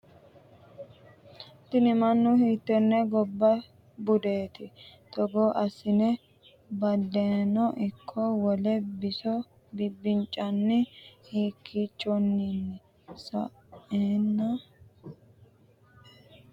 kuni manni hiittenne gobba budeeti? togo assine badheno ikko wole biso bibbiciranna haakkiichinnino saeenna murmudha danchate yite hedhatto? mayyirrati ?